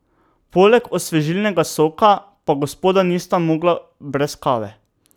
Poleg osvežilnega soka pa gospoda nista mogla brez kave.